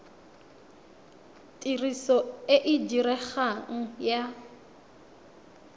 tiriso e e diregang ya